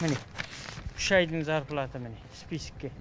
міне үш айдың зарплата міне списокте